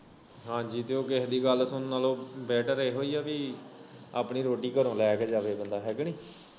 ਹਾਂਜੀ ਤੇ ਉਹ ਕੇਹੇ ਦੀ ਗੱਲ ਸੁਣਨ ਨਾਲੋਂ ਬੈਟਰ ਏਹੀਓ ਐ ਕਿ ਆਪਣੀ ਰੋਟੀ ਘਰੋਂ ਲੈ ਕੇ ਜਾਵੇ ਬੰਦਾ ਹੈ ਕਿ ਨਈ?